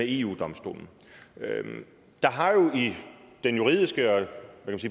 eu domstolen der har jo i den juridiske og